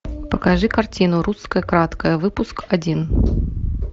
покажи картину русское краткое выпуск один